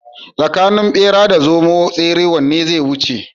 Tsakanin bera da zomo tsere wanne zai wuce?